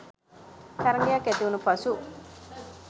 තරඟයක් ඇතිවුනු පසු